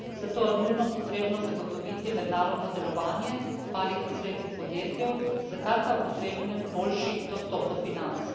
Zato je nujno potrebno zagotoviti mednarodno delovanje malih in srednjih podjetij, za kar pa je potreben boljši dostop do financ.